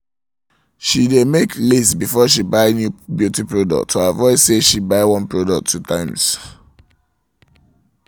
she dae make list before she buy new beauty products to avoid say she buy one product two times